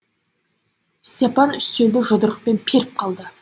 степан үстелді жұдырықпен періп қалды